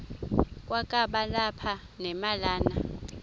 kwakaba lapha nemalana